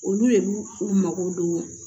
Olu de b'u u mago don